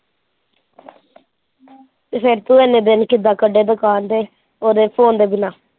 ਫਿਰ ਤੂੰ ਐਨੇ ਦਿਨ ਕਿੱਦਾਂ ਕੱਢੇ ਦੁਕਾਨ ਦੇ ਉਹਦੇ phone ਦੇ ਬਿਨਾ।